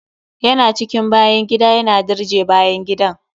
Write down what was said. Ya na cikin bayan gida, yana dirje bayan gidan.